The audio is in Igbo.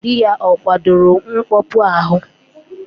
Dị ya ọ kwadoro mkpọpu ahụ?